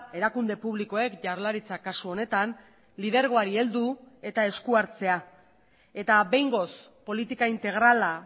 erakunde publikoek jaurlaritzak kasu honetan lidergoari heldu eta eskuhartzea eta behingoz politika integrala